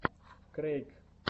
крэйк